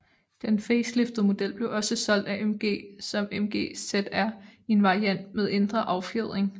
Dedn faceliftede model blev også solgt af MG som MG ZR i en variant med ændret affjedring